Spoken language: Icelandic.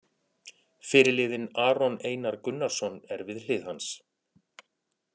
Fyrirliðinn Aron Einar Gunnarsson er við hlið hans.